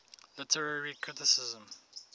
literary criticism